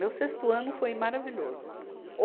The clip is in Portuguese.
Meu sexto ano foi maravilhoso. O